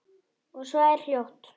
Og svo er hljótt.